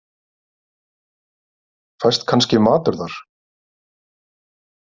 Fæst kannski matur þar?